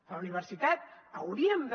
a la universitat hauríem de